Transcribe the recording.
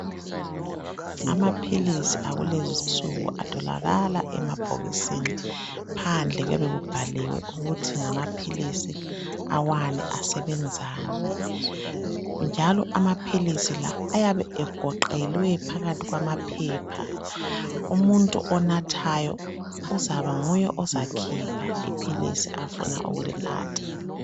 Amaphilizi akulezinsuku atholakala emabhokisini phandle kuyabe kubhaliwe ukuthi ngamaphilizi ani asebenza ukwenzani njalo amaphilizi lawa ayabe egoqelwe phakathi kwamaphepha umuntu onathayo uzaba nguye ozakhipha iphilizi afuna ukulinatha